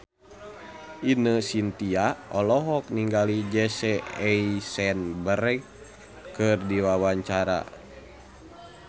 Ine Shintya olohok ningali Jesse Eisenberg keur diwawancara